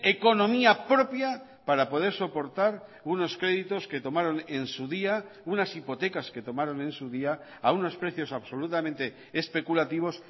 economía propia para poder soportar unos créditos que tomaron en su día unas hipotecas que tomaron en su día a unos precios absolutamente especulativos